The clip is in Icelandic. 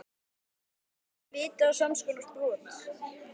Hefðum við fengið víti á samskonar brot?